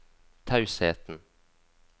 tausheten